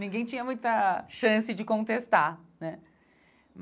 Ninguém tinha muita chance de contestar, né?